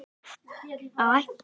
Þær voru gerðar upptækar